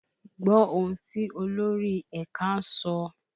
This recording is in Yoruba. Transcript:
Gbọ́ ohùn tí olórí ẹ̀ka ń sọ!